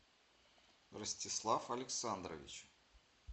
ростислав александрович